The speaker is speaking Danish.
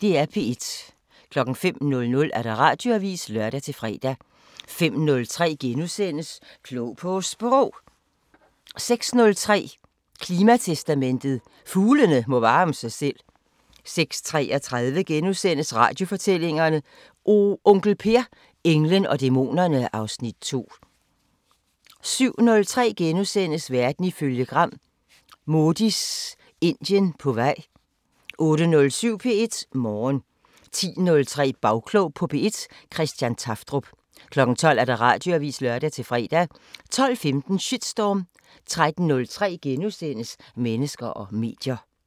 05:00: Radioavisen (lør-fre) 05:03: Klog på Sprog * 06:03: Klimatestamentet: Fuglene må varme sig selv 06:33: Radiofortællinger: Onkel Per – englen og dæmonerne (Afs. 2)* 07:03: Verden ifølge Gram: Modis Indien på vej * 08:07: P1 Morgen 10:03: Bagklog på P1: Christian Tafdrup 12:00: Radioavisen (lør-fre) 12:15: Shitstorm 13:03: Mennesker og medier *